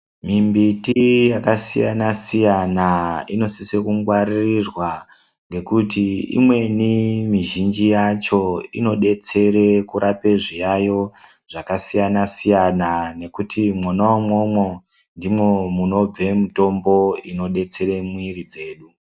Mimbiti yakasiyasiyana inosisa kungwaririrwa ngekuti imweni mizhinji yacho inodetsere kurapa zviyayo zvakasiyana siyana nekuti mwona umwomwo ndimona munobve mutombo inobetsera mwiri dzedu